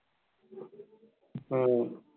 হম